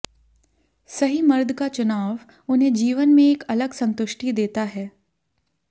सही मर्द का चुनाव उन्हें जीवन में एक अलग संतुष्टि देता हैं